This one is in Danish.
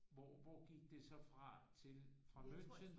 Hvor hvor gik det så fra til fra München